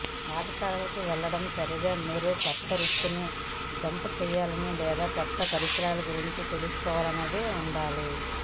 పాఠశాలకు వెళ్లడం సరిగ్గా మీరు కొత్త వృత్తిని జంప్ చేయాలని లేదా కొత్త పరిశ్రమ గురించి తెలుసుకునేలా ఉండాలి